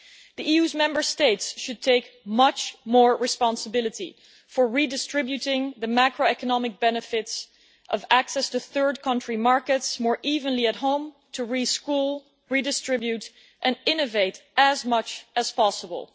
The EU Member States should take much more responsibility for redistributing the macroeconomic benefits of access to third country markets more evenly at home, to re-school, redistribute and innovate as much as possible.